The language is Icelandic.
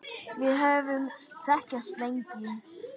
Við höfum þekkst lengi